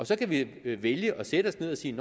så kan vi vælge at sætte os ned og sige